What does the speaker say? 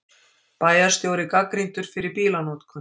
Bæjarstjóri gagnrýndur fyrir bílanotkun